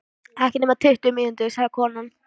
Ekki nema tuttugu mínútur, sagði konan.